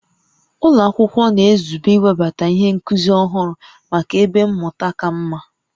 Ụlọ akwụkwọ na-ezube iwebata ihe nkuzi ọhụrụ maka ebe mmụta ka mma